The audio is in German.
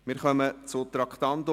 Wir kommen zum Traktandum 109.